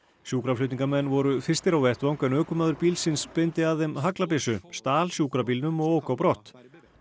sjúkraflutningamenn voru fyrstir á vettvang en ökumaður bílsins beindi að þeim haglabyssu stal sjúkrabílnum og ók á brott